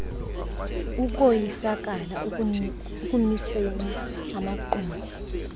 ukoyisakala ekumiseni amaqumrhu